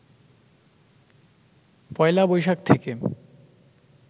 পয়লা বৈশাখ থেকে